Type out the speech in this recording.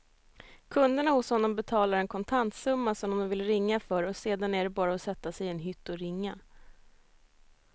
Kunderna hos honom betalar en kontantsumma som de vill ringa för och sedan är det bara att sätta sig i en hytt och ringa.